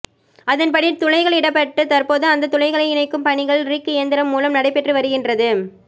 அதன்படி துழைகள் இடப்பட்டு தற்போது அந்த துழைகளை இணைக்கும் பணிகள் ரிக் இயந்திரம் மூலம் நடைபெற்று வருகின்றது